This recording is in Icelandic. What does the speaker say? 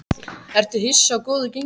Ertu hissa á góðu gengi ykkar?